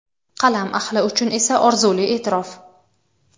qalam ahli uchun esa orzuli e’tirof.